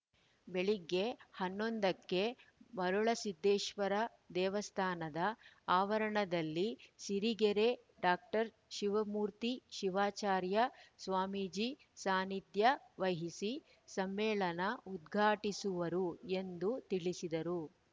ಬೆಳಗ್ಗೆ ಹನ್ನೊಂದು ಕ್ಕೆ ಮರುಳಸಿದ್ದೇಶ್ವರ ದೇವಸ್ಥಾನದ ಆವರಣದಲ್ಲಿ ಸಿರಿಗೆರೆ ಡಾಕ್ಟರ್ ಶಿವಮೂರ್ತಿ ಶಿವಾಚಾರ್ಯ ಸ್ವಾಮೀಜಿ ಸಾನಿಧ್ಯ ವಹಿಸಿ ಸಮ್ಮೇಳನ ಉದ್ಘಾಟಿಸುವರು ಎಂದು ತಿಳಿಸಿದರು